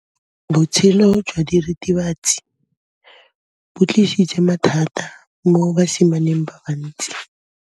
Botshelo jwa diritibatsi ke bo tlisitse mathata mo basimaneng ba bantsi.